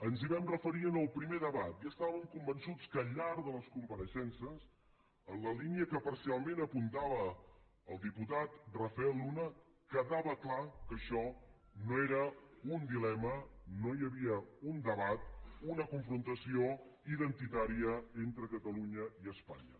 ens hi vam referir en el primer debat i estàvem convençuts que al llarg de les compareixences en la línia que parcialment apuntava el diputat rafel luna quedava clar que això no era un dilema no hi havia un debat una confrontació identitària entre catalunya i espanya